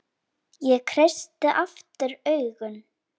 Ég kreisti aftur augun.